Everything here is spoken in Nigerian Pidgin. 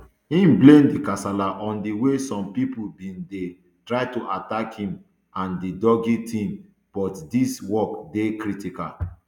im blame di kasala on di way some pipo bin dey try to attack me and di doge team but dis work dey critical